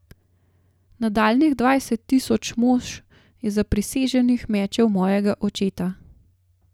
Nadaljnjih dvajset tisoč mož je zapriseženih mečev mojega očeta.